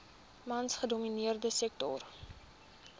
mans gedomineerde sektor